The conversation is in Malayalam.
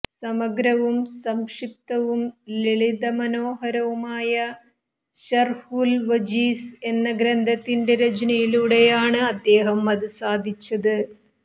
സമഗ്രവും സംക്ഷിപ്തവും ലളിതമാനോഹരവുമായ ശര്ഹുല് വജീസ് എന്ന ഗ്രന്ഥത്തിന്റെ രചനയിലൂടെയാണ് അദ്ദേഹം അത് സാധിച്ചത്